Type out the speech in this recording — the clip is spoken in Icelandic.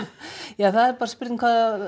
ja það er bara spurning